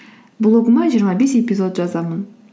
блогыма жиырма бес эпизод жазамын